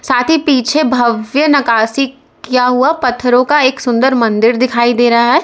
पीछे भव्य नकाशी किया हुआ पत्थरों का एक सुंदर मंदिर दिखाई दे रहा है।